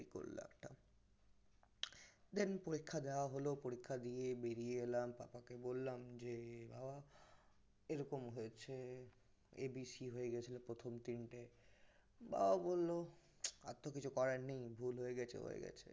then পরীক্ষা দেওয়া হল পরীক্ষা দিয়ে বেরিয়ে এলাম পাপাকে বললাম যে বাবা এরকম হয়েছে A B C হয়ে গেছিল প্রথম তিনটে বাবা বলল আর তহ কিছু করার নেই ভুল হয়ে গেছে হয়ে গেছে